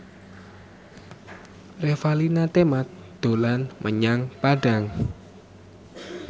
Revalina Temat dolan menyang Padang